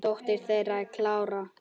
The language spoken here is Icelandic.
Dóttir þeirra er Klara.